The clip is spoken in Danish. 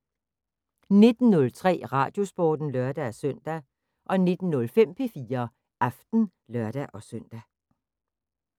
19:03: Radiosporten (lør-søn) 19:05: P4 Aften (lør-søn)